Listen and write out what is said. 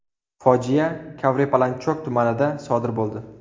Fojia Kavrepalanchok tumanida sodir bo‘ldi.